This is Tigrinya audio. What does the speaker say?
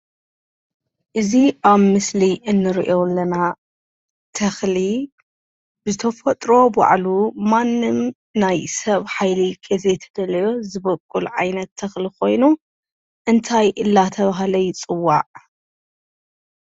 እዚ ኣብ ምስሊ እንሪኦ ዘለና ተኽሊ ብተፈጥሮ ባዕሉ ማንም ናይ ሰብ ሓይሊ ዘይተፈለዮ ባዕሉዝበቁል ዓይነት ተኽሊ ኮይኑ እንታይ እናተባሃለ ይፅዋዕ?